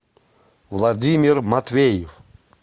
владимир матвеев